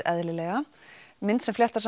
eðlilega mynd sem fléttar